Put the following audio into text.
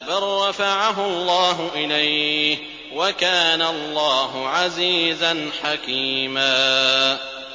بَل رَّفَعَهُ اللَّهُ إِلَيْهِ ۚ وَكَانَ اللَّهُ عَزِيزًا حَكِيمًا